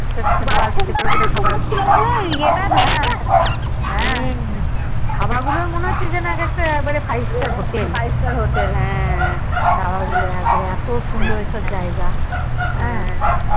ছোট ছোট কত খবর হম ধাবা মনে হচ্ছে যেন এক একটা মানে Five star hotel ধাবা গুলো একেবারে বাড়ে এত সুন্দর ওসব জায়গা